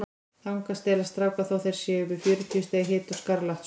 Þangað stelast strákar þótt þeir séu með fjörutíu stiga hita og skarlatssótt.